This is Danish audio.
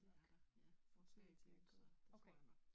Det er der. Ja får 3 kuld så det tror jeg nok